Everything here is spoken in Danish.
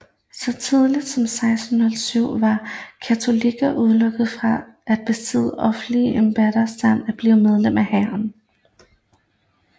Så tidligt som 1607 var katolikker udelukket fra at besidde offentlige embeder samt at blive medlem af hæren